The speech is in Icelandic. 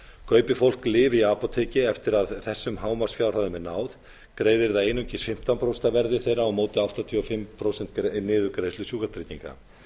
kaupi fólk lyf í apóteki eftir að þessum hámarksfjárhæðum er náð greiðir það einungis fimmtán prósent af verði þeirra á móti áttatíu og fimm prósent niðurgreiðslu sjúkratrygginga